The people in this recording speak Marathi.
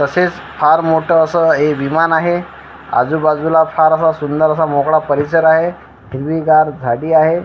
तसेच फार मोठं असं हे विमान आहे आजूबाजूला फार असा सुंदर असा मोकळा परिसर आहे हिरवीगार झाडी आहे.